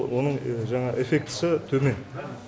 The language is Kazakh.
оның жаңағы эффектісі төмен